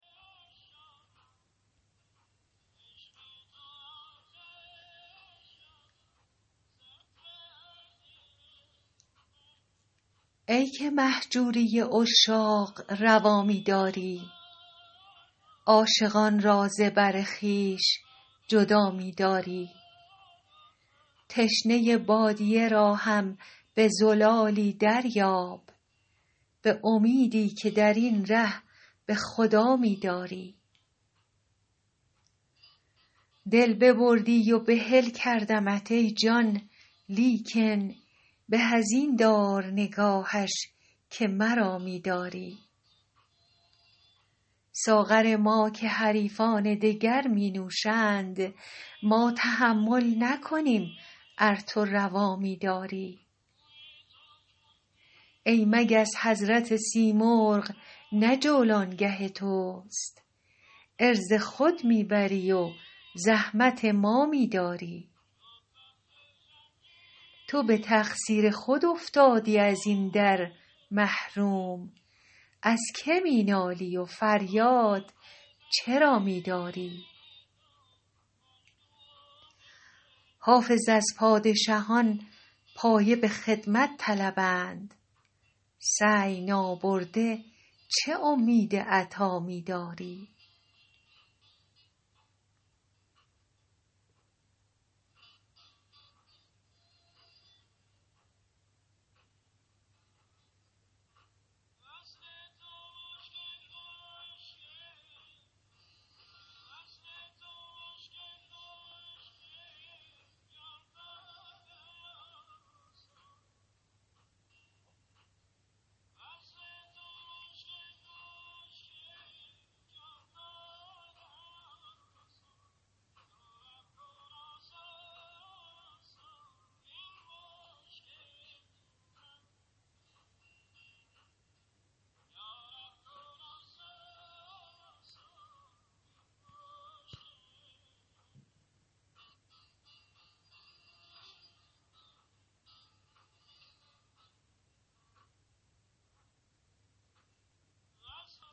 ای که مهجوری عشاق روا می داری عاشقان را ز بر خویش جدا می داری تشنه بادیه را هم به زلالی دریاب به امیدی که در این ره به خدا می داری دل ببردی و بحل کردمت ای جان لیکن به از این دار نگاهش که مرا می داری ساغر ما که حریفان دگر می نوشند ما تحمل نکنیم ار تو روا می داری ای مگس حضرت سیمرغ نه جولانگه توست عرض خود می بری و زحمت ما می داری تو به تقصیر خود افتادی از این در محروم از که می نالی و فریاد چرا می داری حافظ از پادشهان پایه به خدمت طلبند سعی نابرده چه امید عطا می داری